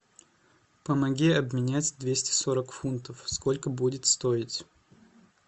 помоги обменять двести сорок фунтов сколько будет стоить